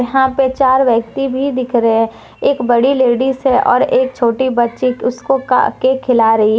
यहां पे चार व्यक्ति भी दिख रहे हैं एक बड़ी लेडिस है और एक छोटी बच्ची उसको काट केक खिला रही हैं।